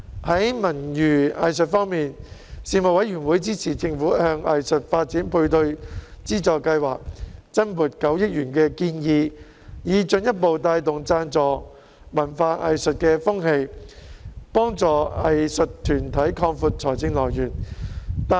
在文娛藝術方面，事務委員會支持政府向藝術發展配對資助計劃增撥9億元的建議，以進一步帶動贊助文化藝術的風氣，幫助藝術團體擴闊財政來源。